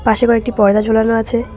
পাশে আবার একটি পর্দা ঝোলানো আছে।